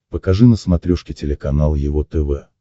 покажи на смотрешке телеканал его тв